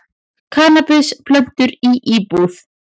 Kannabisplöntur í íbúð